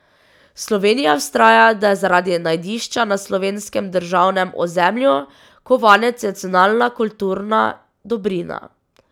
Slovenija vztraja, da je zaradi najdišča na slovenskem državnem ozemlju kovanec nacionalna kulturna dobrina.